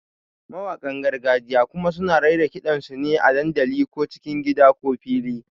Mawaƙan gargajiya kuma suna raira ƙidan sune a dandali, ko cikin gida ko fili.